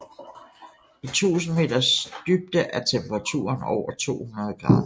I 1000 meters dybde er temperaturen over 200 grader